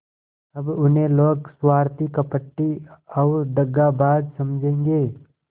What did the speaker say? अब उन्हें लोग स्वार्थी कपटी और दगाबाज समझेंगे